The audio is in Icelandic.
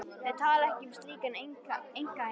Þau tala ekki um slíkan einkaheim.